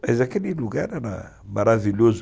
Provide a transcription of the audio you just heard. Mas aquele lugar era maravilhoso.